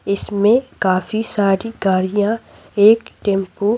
इसमें काफी सारी गाड़ियां एक टेंपो --